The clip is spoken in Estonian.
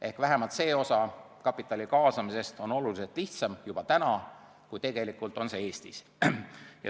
Ehk vähemalt see osa kapitali kaasamisest on juba praegu oluliselt lihtsam kui Eestis.